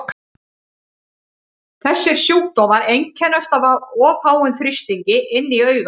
Þessir sjúkdómar einkennast af of háum þrýstingi inni í auganu.